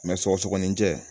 sɔgɔsɔgɔninjɛ